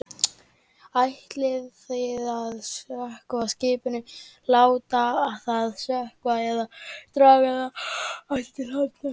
Ætlið þið að sökkva skipinu, láta það sökkva eða draga það aftur til hafnar?